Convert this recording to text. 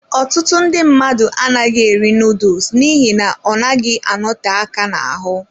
Ọtụtụ ndị mmadụ anaghị eri noodles n'ihi na ọ naghị anote aka n'ahụ.